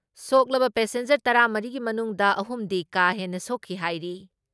ꯁꯣꯛꯂꯕ passenger ꯇꯔꯥ ꯃꯔꯤꯒꯤ ꯃꯅꯨꯡꯗ ꯑꯍꯨꯝꯗꯤ ꯀꯥ ꯍꯦꯟꯅ ꯁꯣꯛꯈꯤ ꯍꯥꯏꯔꯤ ꯫